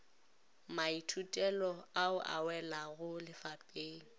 maithutelo ao a welago lefapeng